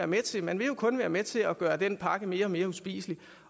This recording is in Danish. med til man vil jo kun være med til at gøre den pakke mere og mere uspiselig